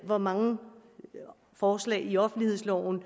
hvor mange forslag i offentlighedsloven